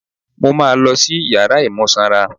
Mo máa ma lọ sí yàrá imú sanra.